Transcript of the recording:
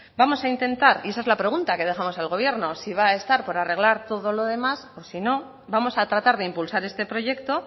vamos a intentar y esa es la pregunta que dejamos al gobierno si va a estar por arreglar todo lo demás o si no vamos a tratar de impulsar este proyecto